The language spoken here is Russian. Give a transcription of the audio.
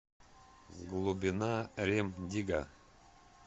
глубина рем дигга